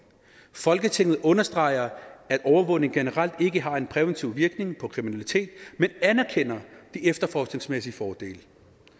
folketinget understreger at overvågning generelt ikke har en præventiv virkning på kriminalitet men anerkender de efterforskningsmæssige fordele